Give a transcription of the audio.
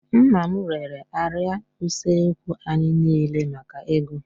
Nna m rere árịà usekwu anyị niile maka ego